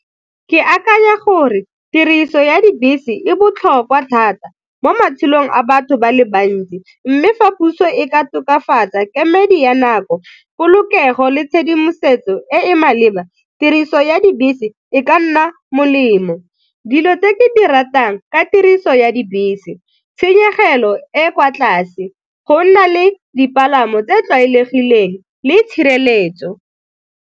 Ke akanya gore tiriso ya dibese e botlhokwa thata mo matshelong a batho ba le bantsi mme fa puso e ka tokafatsa kemedi ya nako, polokego le tshedimosetso e e maleba tiriso ya dibese e ka nna molemo. Dilo tse ke di ratang ka tiriso ya dibese, tshenyegelo e kwa tlase, go nna le dipalamo tse di tlwaelegileng le tshireletso.